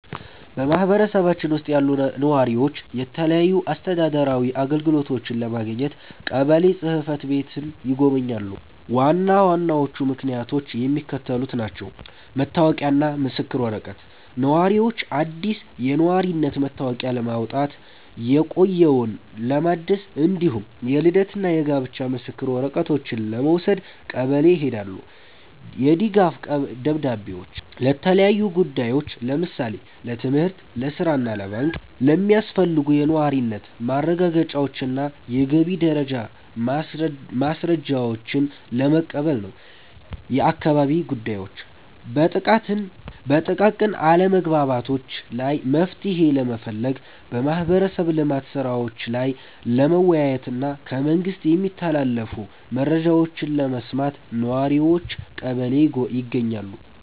በማኅበረሰባችን ውስጥ ያሉ ነዋሪዎች የተለያዩ አስተዳደራዊ አገልግሎቶችን ለማግኘት ቀበሌ ጽሕፈት ቤትን ይጎበኛሉ። ዋና ዋናዎቹ ምክንያቶች የሚከተሉት ናቸው፦ መታወቂያና ምስክር ወረቀት፦ ነዋሪዎች አዲስ የነዋሪነት መታወቂያ ለማውጣት፣ የቆየውን ለማደስ፣ እንዲሁም የልደትና የጋብቻ ምስክር ወረቀቶችን ለመውሰድ ቀበሌ ይሄዳሉ። የድጋፍ ደብዳቤዎች፦ ለተለያዩ ጉዳዮች (ለምሳሌ ለትምህርት፣ ለሥራ ወይም ለባንክ) የሚያስፈልጉ የነዋሪነት ማረጋገጫዎችንና የገቢ ደረጃ ማስረጃዎችን ለመቀበል ነው። የአካባቢ ጉዳዮች፦ በጥቃቅን አለመግባባቶች ላይ መፍትሔ ለመፈለግ፣ በማኅበረሰብ ልማት ሥራዎች ላይ ለመወያየትና ከመንግሥት የሚተላለፉ መረጃዎችን ለመስማት ነዋሪዎች ቀበሌ ይገኛሉ።